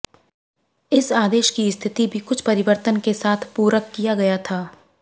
इस आदेश की स्थिति भी कुछ परिवर्तन के साथ पूरक किया गया था